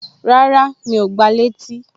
Rárá, Mi ò gba létí